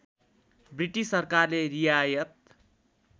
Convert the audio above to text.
British सरकारले रियायत